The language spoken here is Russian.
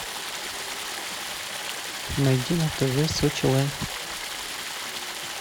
найти на тв сочи лайф